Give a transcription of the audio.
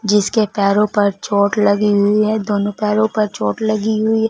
जिसके पैरों पर चोट लगी हुई है दोनों पैरों पर चोट लगी हुई--